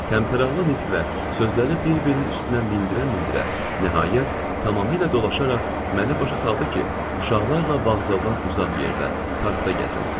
Təmtəraqlı nitqlə, sözləri bir-birinin üstünə mindirə-mindirə, nəhayət, tamamilə dolaşaraq məni başa saldı ki, uşaqlarla vağzaldan uzaq yerdə, parkda gəzin.